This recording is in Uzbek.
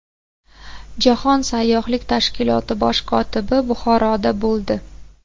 Jahon sayyohlik tashkiloti bosh kotibi Buxoroda bo‘ldi.